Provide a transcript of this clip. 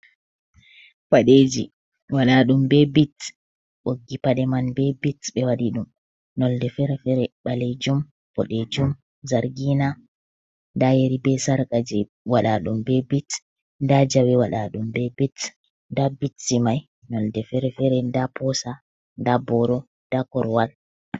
Paɗe ji waɗa ɗum be bit, ɓoggi paɗe man be bit ɓe waɗi ɗum nolde fere fere ɓalejum, ɓodejum, zargina, nda yeri be sarka je waɗa ɗum be bit, nda jawe waɗa ɗum be bit, nda bitji mai nolde fere fere nda posa, nda boro, nda korwal.